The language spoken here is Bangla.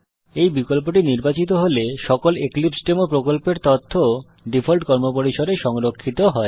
এই বিকল্পটি নির্বাচিত হলে সকল এক্লিপসেডেমো প্রকল্পের তথ্য ডিফল্ট কর্মপরিসরে সংরক্ষিত হয়